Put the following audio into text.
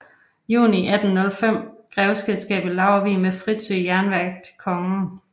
Juni 1805 grevskabet Laurvig med Fritzø Jernværk til kongen